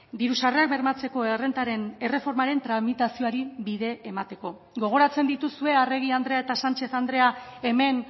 diru sarrerak bermatzeko errentaren erreformaren tramitazioari bide emateko gogoratzen dituzue arregi andrea eta sánchez andrea hemen